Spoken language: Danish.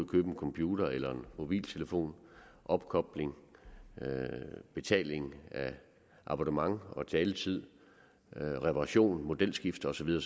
købe en computer eller en mobiltelefon opkobling betaling af abonnement og taletid reparation modelskifte og så videre